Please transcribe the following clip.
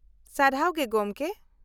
-ᱥᱟᱨᱦᱟᱣ ᱜᱮ ᱜᱚᱢᱠᱮ ᱾